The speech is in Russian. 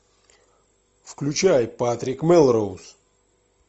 включай патрик мелроуз